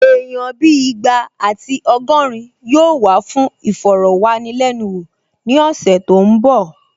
Èèyàn bíi ìgbà àti ọgọ́rin yóò wá fún ìfọ̀rọ̀wánilẹ́nuwò ní ọ̀sẹ̀ tó n bọ̀